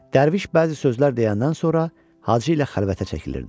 Dərviş bəzi sözlər deyəndən sonra Hacı ilə xəlvətə çəkilirdi.